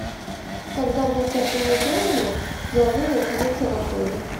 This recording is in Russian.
когда будут организованы деловые мероприятия в отеле